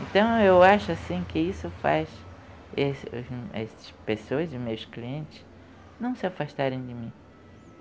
Então, eu acho assim que isso faz esse os esses pessoas e os meus clientes não se afastarem de mim.